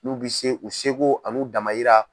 N'u bɛ se u sego an'u damayira